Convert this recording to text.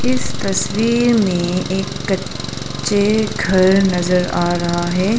इस तस्वीर में एक क च्चे घर नजर आ रहा है।